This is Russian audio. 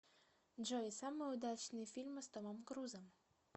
джой самые удачные фильмы с томом крузом